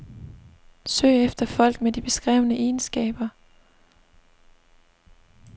Søg efter folk med de beskrevne egenskaber.